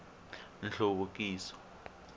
nhluvukiso